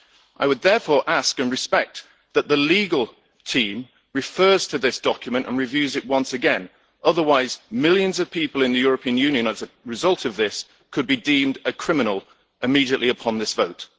I would therefore ask in respect that the legal team refer to this document and review it once again, otherwise millions of people in the European Union as a result of this could be deemed a criminal immediately upon this vote.